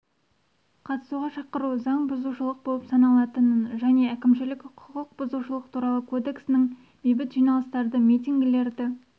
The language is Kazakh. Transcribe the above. қатысуға шақыру заң бұзушылық болып саналатынын және әкімшілік құқық бұзушылық туралы кодексінің бейбіт жиналыстарды митингілерді